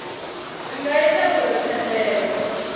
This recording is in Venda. zwi nga ita uri thendelo